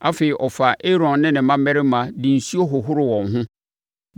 Afei, ɔfaa Aaron ne ne mmammarima de nsuo hohoroo wɔn ho,